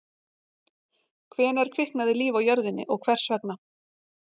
hvenær kviknaði líf á jörðinni og hvers vegna